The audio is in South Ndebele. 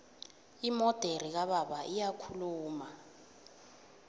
imodere kababa iyakhuluma